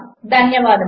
ధన్యవాదములు